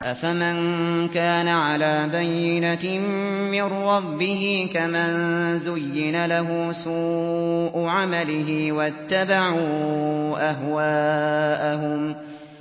أَفَمَن كَانَ عَلَىٰ بَيِّنَةٍ مِّن رَّبِّهِ كَمَن زُيِّنَ لَهُ سُوءُ عَمَلِهِ وَاتَّبَعُوا أَهْوَاءَهُم